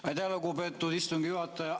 Aitäh, lugupeetud istungi juhataja!